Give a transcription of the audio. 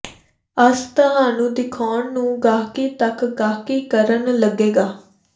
ਅਸ ਤੁਹਾਨੂੰ ਦਿਖਾਉਣ ਨੂੰ ਗਾਹਕੀ ਤੱਕ ਗਾਹਕੀ ਕਰਨ ਲੱਗੇਗਾ